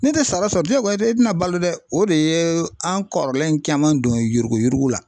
Ni tɛ sara sɔrɔ ja goya e tina balo dɛ, o de ye an kɔrɔlen caman don yuruguyurugu la